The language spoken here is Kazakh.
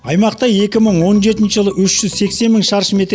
аймақта екі мың он жетінші жылы үш жүз сексен мың шаршы метр